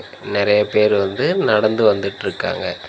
நெறைய பேரு வந்து நடந்து வந்துட்ருக்காங்க.